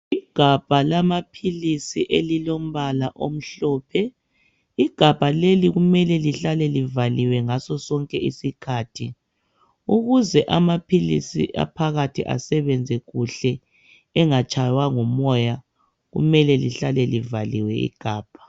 Igabha lamaphilisi elilombala omhlophe. Igabha leli kumele lihlale livaliwe ngaso sonke isikhathi. Ukuze amaphilisi aphakathi asebenze kuhle angatshaywa ngumoya kumele lihlale livaliwe igabha.